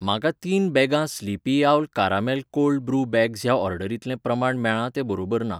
म्हाका तीन बॅगां Sleepy Owl caramel cold brew bags ह्या ऑर्डरींतलें प्रमाण मेळ्ळां तें बरोबर ना.